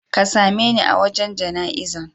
Ka same ne a wajan jana izan.